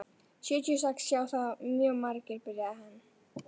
Sjötíu og sex sjá það mjög margir, byrjaði hann.